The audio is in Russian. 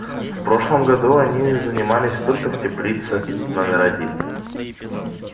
в прошлом году они занимались только в теплице номер один